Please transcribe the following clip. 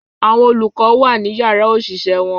Àwọn olùkọ́ wa ni yàrá òṣìṣẹ́ wọn